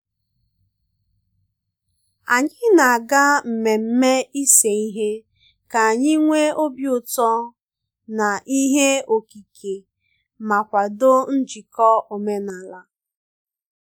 anyị na aga mmemme ise ihe ka anyị nwe obi ụtọ na ihe okike ma kwado njiko omenala